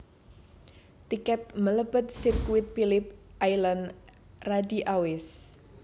Tiket melebet sirkuit Philip Island radi awis